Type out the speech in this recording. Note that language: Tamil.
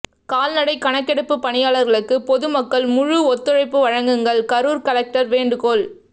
கால்நடை கணக்கெடுப்பு பணியாளர்களுக்கு பொதுமக்கள் முழு ஒத்துழைப்பு வழங்குங்கள் கரூர் கலெக்டர் வேண்டுகோள்